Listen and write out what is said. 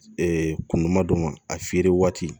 kun ma don ma a feere waati